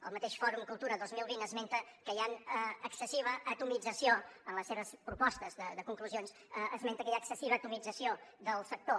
el mateix fòrum cultura dos mil vint esmenta que hi ha excessiva atomització en les seves propostes de conclusions esmenta que hi ha excessiva atomització del sector